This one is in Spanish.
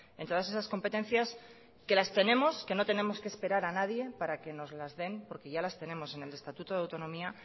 en todas esas competencias que las tenemos que no tenemos que esperar a nadie para que nos las den porque ya las tenemos en el estatuto de autonomía